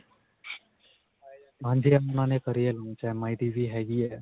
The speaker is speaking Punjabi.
ਹਾਂਜੀ. ਇਨ੍ਹਾਂ ਨੇ ਕਰੀ ਆ launch MI ਦੀ ਵੀ ਹੈਗੀ ਹੈ.